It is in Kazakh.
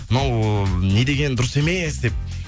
мынау не деген дұрыс емес деп